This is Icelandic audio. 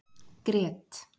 Grét